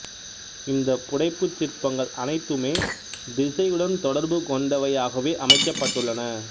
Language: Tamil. இந்த புடைப்புச் சிற்பங்கள் அனைத்துமே திசையுடன் தொடர்பு கொண்டவையாகவே அமைக்கப்பட்டுள்ளன